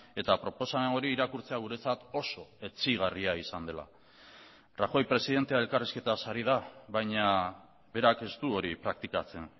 eta proposamen hori irakurtzea guretzat oso etsigarria izan dela rajoy presidentea elkarrizketaz ari da baina berak ez du hori praktikatzen